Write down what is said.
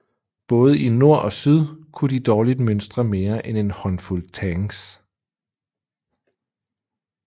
Både i nord ogsyd kunne de dårligt mønstre mere end en håndfuld tanks